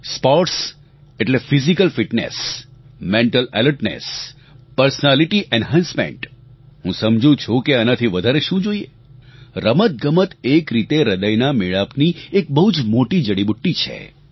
sports એટલે physical fitness mental alertness personality enhancement હું સમજું છું કે આનાથી વધારે શું જોઇએ રમતગમત એક રીતે હ્રદયનાં મેળાપની એક બહુજ મોટી જડીબુટ્ટી છે